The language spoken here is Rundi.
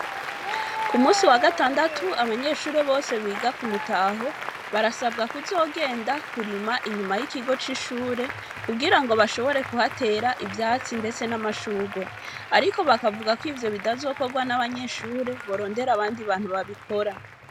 Ku munsi wa gatandatu, abanyeshure bose, biga ku Mutaho, barasabwa kuzogenda, kurima, inyuma y'ikigo c'ishure, kugira ngo, bashobore kuhatera ivyatsi, ndetse n'amashurwe; ariko bakavuga ko, ivyo bitazokorwa n'abanyeshure, borondera abandi bantu babikora.